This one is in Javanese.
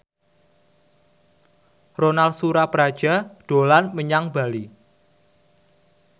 Ronal Surapradja dolan menyang Bali